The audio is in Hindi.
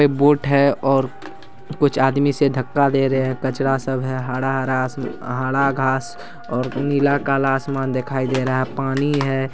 एक बोट है और कुछ आदमी इसे धक्का दे रहे हैं कचरा सब है हरा-हरा घा घांस और नीला - काला आसमान दिखाई दे रहा है पानी है।